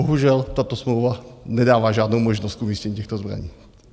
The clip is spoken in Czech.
Bohužel tato smlouva nedává žádnou možnost umístění těchto zbraní.